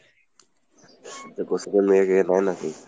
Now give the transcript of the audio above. এই coaching এর মেয়ে দিয়ে হয় নাকি?